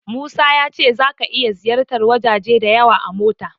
Musa ya ce zaka iya ziyartar wajaje da yawa a mota.